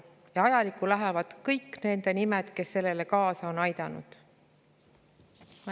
Ja ajalukku lähevad kõigi nende nimed, kes on sellele kaasa aidanud.